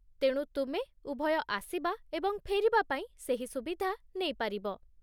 ତେଣୁ ତୁମେ ଉଭୟ ଆସିବା ଏବଂ ଫେରିବା ପାଇଁ ସେହି ସୁବିଧା ନେଇପାରିବ।